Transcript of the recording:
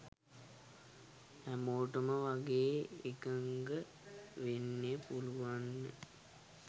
හැමෝටම වගේ එකගවෙන්න පුළුවන්